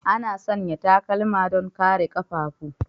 Ana sanya takalma don kare ƙafafu.